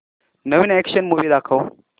नवीन action movie दाखव